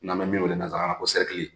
N'an be min wele nanzara la ko